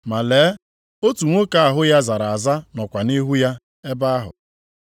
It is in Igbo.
Ma lee, otu nwoke ahụ ya zara aza nọkwa nʼihu ya ebe ahụ.